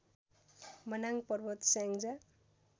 Manang Parbat Syangja